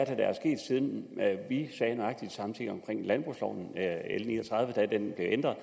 er der er sket siden vi sagde nøjagtig de samme ting omkring landbrugsloven da den blev ændret